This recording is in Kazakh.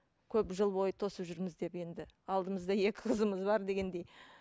көп жыл бойы тосып жүрміз деп енді алдымызда екі қызымыз бар дегендей